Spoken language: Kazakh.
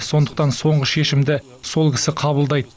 сондықтан соңғы шешімді сол кісі қабылдайды